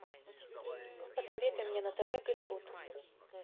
посоветуй мне на тв голливуд